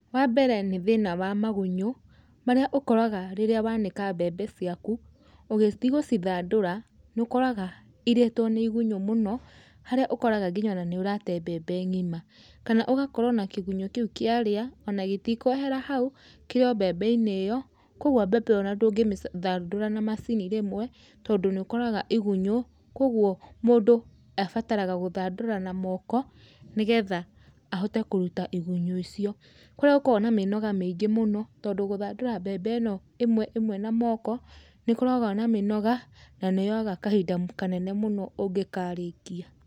Wambere nĩ thĩna wa magunyũ, marĩa ũkoraga rĩrĩa wanĩka mbembe ciaku, ũgĩthi gũcithandũra, nĩũkoraga, irĩtwo nĩ igunyũ mũno, harĩa ũkoraga nginya ona nĩũrate mbembe ng'ima, kana ũgakorwo na kĩgunyũ kĩu kĩarĩa, ona gĩtikwehera hau, kĩrĩ o mbembe-inĩ o ĩyo, koguo mbembe ĩyo ndũngĩ mĩci thandũra na macini rĩmwe, tondũ nĩũkoraga igunyũ, koguo, mũndũ abataraga gũthandũra na moko, nĩgetha ahote kũruta igunyũ icio, kũrĩa gũkoragwo na mĩnoga mĩingĩ mũno, tondũ gũthandũra mbembe ĩno ĩmwe ĩmwe na moko, nĩkoragwo na mĩnoga, nanĩyoyaga kahinda kanene mũno ũngĩkarĩkia.